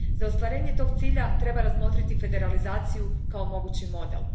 Za ostvarenje tog cilja treba razmotriti federalizaciju kao mogući model.